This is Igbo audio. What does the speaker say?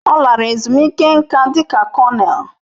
Ọ lara ezumike nká dị ka kọnel.